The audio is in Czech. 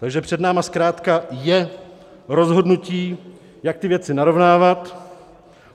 Takže před námi zkrátka je rozhodnutí, jak ty věci narovnávat.